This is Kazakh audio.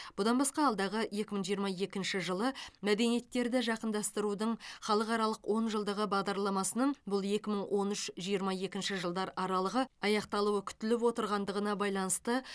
бұдан басқа алдағы екі мың жиырма екінші жылы мәдениеттерді жақындастырудың халықаралық онжылдығы бағдарламасының бұл екі мың он үш жиырма екінші жылдар аралығы аяқталуы күтіліп отырғандығына байланысты